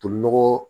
Tolinɔgɔ